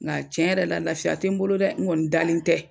Nga cɛn yɛrɛ la lafiya te n bolo dɛ n kɔni dalen tɛ